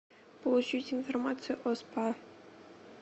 получить информацию о спа